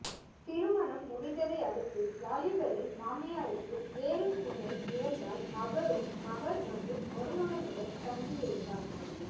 திருமணம் முடிந்ததை அடுத்து வாலிபரின் மாமியாருக்கு வேறு துணை இழந்தால் அவரும் மகள் மற்றும் மருமகனுடன் தங்கியிருந்தார்